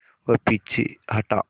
वह पीछे हटा